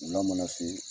Wula mana se